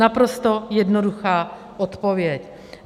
Naprosto jednoduchá odpověď.